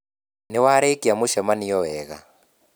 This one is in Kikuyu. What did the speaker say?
Nĩ warĩkia mucemanio wega